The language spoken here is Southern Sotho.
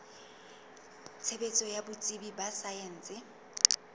tshebetso ya botsebi ba saense